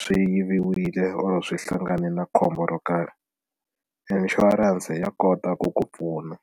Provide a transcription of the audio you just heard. swi yiviwile or swi hlangane na khombo ro karhi insurance ya kota ku ku pfuna.